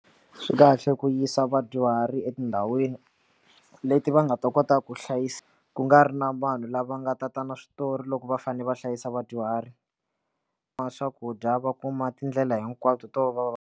Swi kahle ku yisa vadyuhari etindhawini leti va nga ta kotaka ku hlayisa ku nga ri na vanhu lava nga tata na switori loko va fanele va hlayisa vadyuhari va swakudya va kuma tindlela hinkwato to va va.